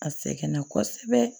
A sɛgɛnna kosɛbɛ